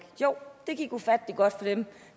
jo det gik ufattelig godt for dem